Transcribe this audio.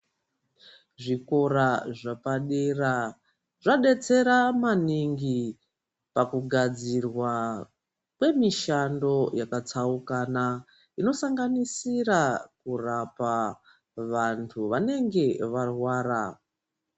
Zvikora zvapadera zvadetsera maningi pakugadzirwa kwemishando yakatsaukana inosanganisira kurapa vantu vanenge varwara.